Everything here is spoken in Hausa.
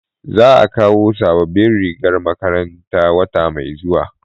za a kawo sabobbin rigar makaranta wata mai zuwa